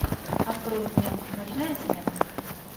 открой мне ночная смена